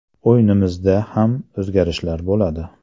O‘yinimizda ham o‘zgarishlar bo‘ladi.